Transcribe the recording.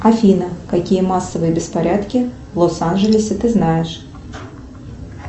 афина какие массовые беспорядки в лос анджелесе ты знаешь